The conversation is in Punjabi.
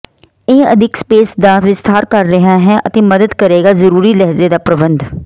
ਇਹ ਅਦਿੱਖ ਸਪੇਸ ਦਾ ਵਿਸਥਾਰ ਕਰ ਰਿਹਾ ਹੈ ਅਤੇ ਮਦਦ ਕਰੇਗਾ ਜ਼ਰੂਰੀ ਲਹਿਜ਼ੇ ਦਾ ਪ੍ਰਬੰਧ